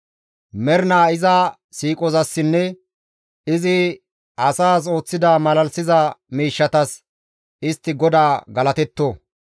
Mernaa iza siiqozassinne izi asas ooththida malalisiza miishshatas istti GODAA galatetto.